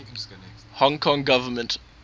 hong kong government